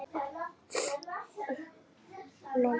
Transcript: Doddi horfir loks í augu honum, alvaran uppmáluð.